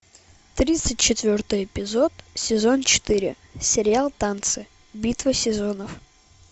тридцать четвертый эпизод сезон четыре сериал танцы битва сезонов